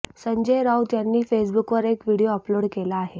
संजय राउत यांनी फेसबुकवर एक व्हिडिओ अपलोड केला आहे